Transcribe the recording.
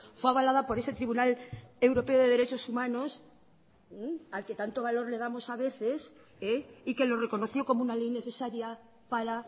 fue avalada por ese tribunal europeo de derechos humanos al que tanto valor le damos a veces y que lo reconoció como una ley necesaria para